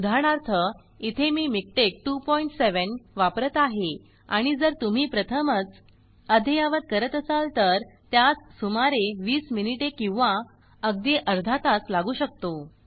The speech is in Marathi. उदाहरणार्थ इथे मी मिकटेक्स 27 वापरत आहे आणि जर तुम्ही प्रथमच अद्ययावत करत असाल तर त्यास सुमारे 20 मिनिटे किंवा अगदी अर्धा तास लागू शकतो